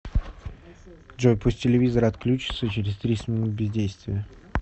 джой пусть телевизор отключится через тридцать минут бездействия